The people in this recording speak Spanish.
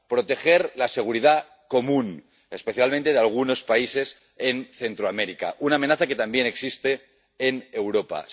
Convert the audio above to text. proteger la seguridad común, especialmente la de algunos países en Centroamérica —una amenaza que también existe en Europa—